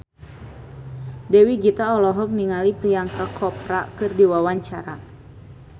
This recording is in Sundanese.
Dewi Gita olohok ningali Priyanka Chopra keur diwawancara